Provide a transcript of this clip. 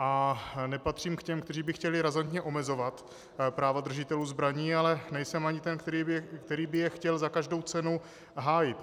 A nepatřím k těm, kteří by chtěli razantně omezovat práva držitelů zbraní, ale nejsem ani ten, který by je chtěl za každou cenu hájit.